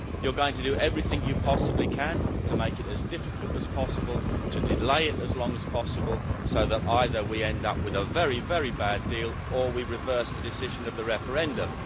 You're going to do everything you possibly can to make it as difficult as possible, to delay it as long as possible, so that either we end up with a very, very bad deal or we reverse the decision of the referendum.